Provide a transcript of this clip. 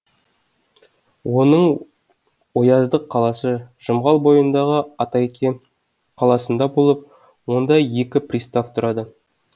оның ояздық қаласы жұмғал бойындағы атайке қаласында болып онда екі пристав тұрады